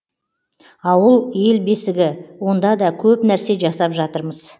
ауыл ел бесігі онда да көп нәрсе жасап жатырмыз